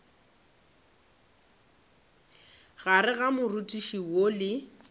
gare ga moriti woo le